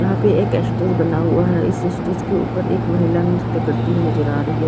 यहां पे एक स्टेज बना हुआ है इस स्टेज के ऊपर एक महिला नृत्य करती नजर आ रही है।